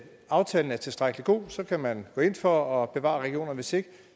aftalen er tilstrækkelig god så kan man gå ind for at bevare regionerne hvis ikke